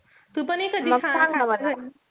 हो तु पण ये कधी